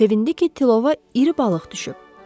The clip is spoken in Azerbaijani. Sevindi ki, tilova iri balıq düşüb.